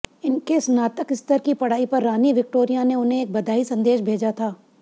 इनके स्नातक स्तर की पढ़ाई पर रानी विक्टोरिया ने उन्हें एक बधाई संदेश भेजा था